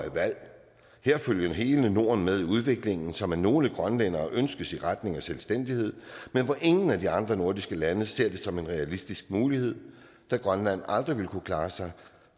her følger hele norden med i udviklingen som af nogle grønlændere ønskes i retning af selvstændighed men som ingen af de andre nordiske lande ser som en realistisk mulighed da grønland aldrig ville kunne klare sig